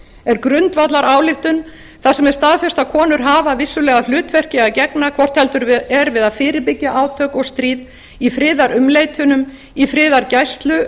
er grundvallarályktun þar sem er staðfest að konur hafa vissulega hlutverki að gegna hvort heldur er við að fyrirbyggja átök og stríð í friðarumleitunum í friðargæslu